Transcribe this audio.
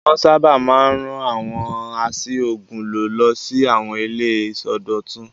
Wọ́n sábà máa ń rán àwọn a ṣí òògùn lò lọ sí àwọn ilé ìsọdọ̀tun.